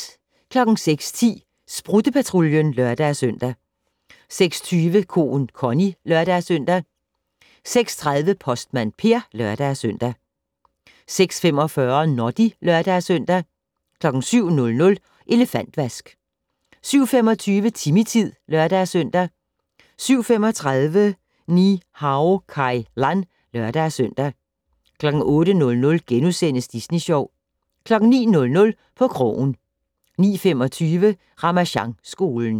06:10: Sprutte-Patruljen (lør-søn) 06:20: Koen Connie (lør-søn) 06:30: Postmand Per (lør-søn) 06:45: Noddy (lør-søn) 07:00: Elefantvask 07:25: Timmy-tid (lør-søn) 07:35: Ni-Hao Kai Lan (lør-søn) 08:00: Disney Sjov * 09:00: På krogen 09:25: Ramasjangskolen